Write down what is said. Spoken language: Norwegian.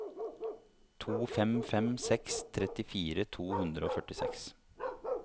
to fem fem seks trettifire to hundre og førtiseks